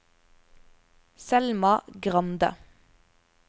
Selma Grande